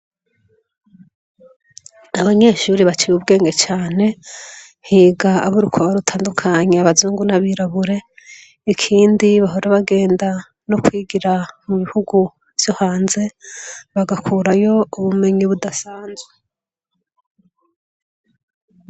Abanyeshure baciye ubwenge cane, higa abo urukoba rutandukanye, abazungu n'abirabure. Ikindi bahora bagenda no kwigira mu bihugu vyo hanze, bagakurayo ubumenyi budasanzwe.